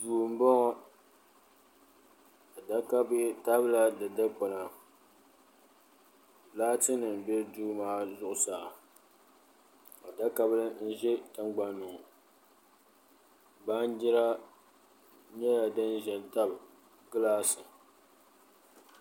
Duu n bɔŋɔ adaka bihi tabila di dikpuna laati nim n bɛ duu maa zuɣusaa adabili n ʒɛ tingbanni ŋɔ baanjira nyɛla din ʒɛ n tabi gilaasi